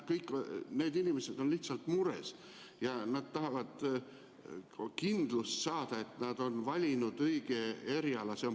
Need inimesed on lihtsalt mures ja nad tahavad kindlust saada, et nad on valinud õige eriala.